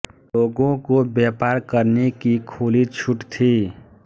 लोगों को व्यापार करने की खुली छूट थी